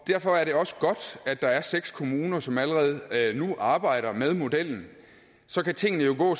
derfor er det også godt at der er seks kommuner som allerede nu arbejder med modellen så kan tingene jo gå